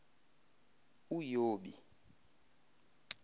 uyobi